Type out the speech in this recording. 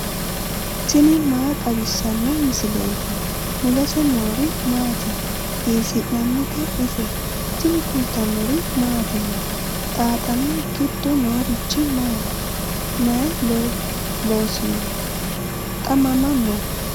tini maa xawissanno misileeti ? mulese noori maati ? hiissinannite ise ? tini kultannori mattiya? Xaaxxame giddo noorichi maati? may loosinno? xa mama noo?